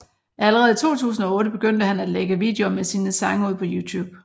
Allerede i 2008 begyndte han at lægge videoer med sine sange ud på YouTube